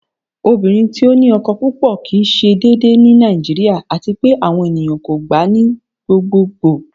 Ọ̀bìnrin tí ó ní ọkọ́ púpọ̀ kí í ṣé dèédèè ní Nàìjíríà, àti pẹ̀ àwọn ènìyàn kò gbà ní gbogbogbo.